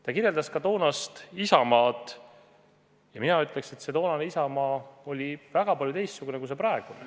Ta kirjeldas ka toonast Isamaad ja mina ütleks, et toonane Isamaa oli väga paljuski teistsugune kui praegune.